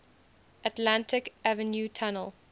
atlantic avenue tunnel